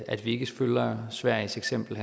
at vi ikke følger sveriges eksempel